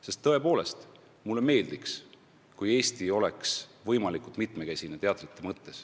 Sest tõepoolest ka mulle meeldiks, kui Eesti teatripilt oleks võimalikult mitmekesine.